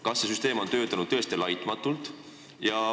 Kas see süsteem on tõesti laitmatult töötanud?